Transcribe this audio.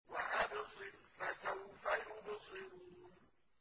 وَأَبْصِرْ فَسَوْفَ يُبْصِرُونَ